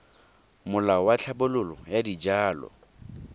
molao wa tlhabololo ya dijalo